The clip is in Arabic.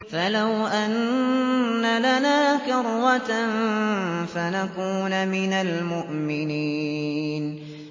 فَلَوْ أَنَّ لَنَا كَرَّةً فَنَكُونَ مِنَ الْمُؤْمِنِينَ